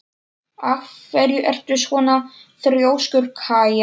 Af hverju ertu svona þrjóskur, Kaía?